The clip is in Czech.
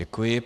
Děkuji.